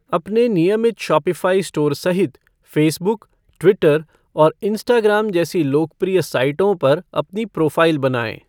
अपने नियमित Shopify store सहित फ़ेसबुक, ट्विटर और इंस्टाग्राम जैसी लोकप्रिय साइटों पर अपनी प्रोफ़ाइल बनाएं।